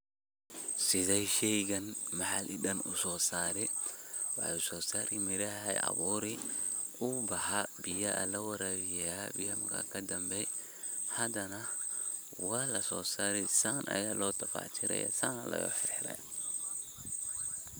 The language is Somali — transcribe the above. Sidee shaygan maxalli ahaan u soo saray waxay usosari miraha abuuri wu baxa biyaha lawarabiya, biyaha marka kadambe hadanah walaso sarey saan aya lo tafactirayah san aya loo xir xirayah.